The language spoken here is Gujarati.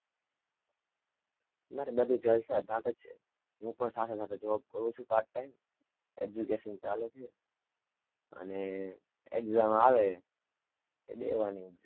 મારે બધું જલસા ચાલે છે, હું પણ સાથે-સાથે job કરું છું, part-time, education ચાલે છે, અને exam આવે, એ દેવાની exam